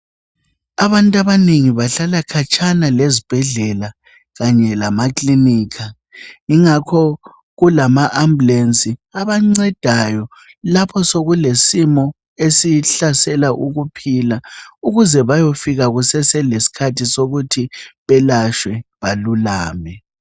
Abantu abanengi bahlala khatshana lezibhedlela kanye lama clinika. Ingakho kulama ambulance abancedayo lapho sokulesimo esihlasela ukuphila ukuze bayofika kusaselesikhathi sokuthi belatshwe balulame.